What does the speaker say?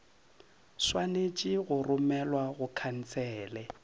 swanetše go romelwa go khansele